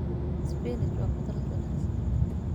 Spinach waa khudrad wanaagsan.